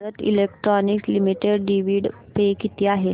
Bharat electronics limited dividend pay किती आहे